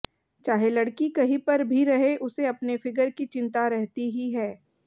चाहे लड़की कहीं पर भी रहे उसे अपने फिगर की चिंता रहती ही है